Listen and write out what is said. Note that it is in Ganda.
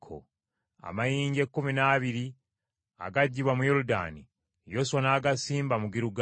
Amayinja ekkumi n’abiri agaggibwa mu Yoludaani, Yoswa n’agasimba mu Girugaali.